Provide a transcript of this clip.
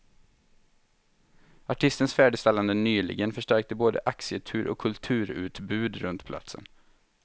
Artistens färdigställande nyligen förstärkte både arkitektur och kulturutbud runt platsen.